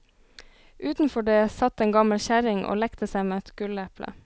Utenfor det satt en gammel kjerring og lekte seg med et gulleple.